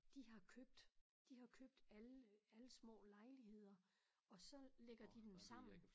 De har købt de har købt alle alle små lejligheder og så lægger de dem sammen